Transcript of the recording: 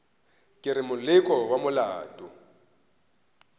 ke re moleko wa maoto